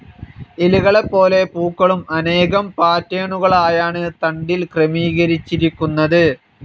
ഇലകളെപ്പോലെ പൂക്കളും അനേകം പാറ്റേണുകളായാണ് തണ്ടിൽ ക്രമീകരിച്ചിരിക്കുന്നത്.